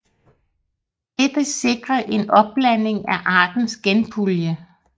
Dette sikrer en opblanding af artens genpulje